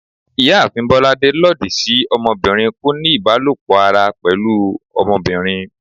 Ìyáàfín bolàdé lọdi sí ọmọbirin koní ibalopọ ará pẹlu ọmọbirin